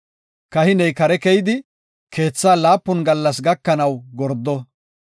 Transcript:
kahiney kare keyidi, keethaa laapun gallas gakanaw gordo.